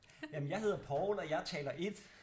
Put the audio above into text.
Jamen jeg hedder Poul og jeg er taler 1